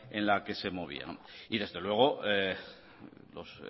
en la que se movía y desde luego los